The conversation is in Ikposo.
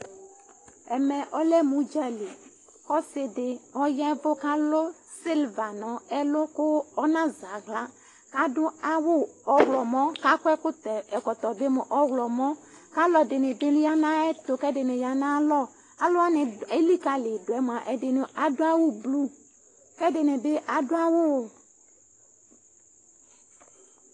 ɛmɛ lɛmʊ udzali, ɔsi dɩ alʊ kpolu kʊ ɔnazɛ aɣla, adʊ awu ɔɣlɔmɔ, kʊ akɔ ɛkɔtɔ ɔɣlɔmɔ, kʊ auɛdɩnɩ bɩ ya nʊ ayɛtu, kʊ ɛdɩnɩ ya nʊ ayalɔ, alʊwanɩ eliyidʊ yɛ mua, ɛdɩnɩ adʊ awu blu,